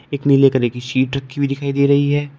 एक नीले कलर की शीट रखी हुई दिखाई दे रही है।